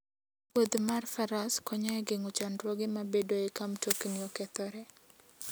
Wuodh mar faras konyo e geng'o chandruoge mabedoe ka mtokni okethore.